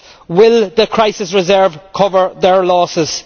will the crisis reserve cover their losses